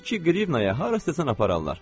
İki qrivnaya hara istəsən apararlar.